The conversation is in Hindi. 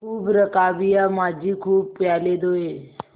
खूब रकाबियाँ माँजी खूब प्याले धोये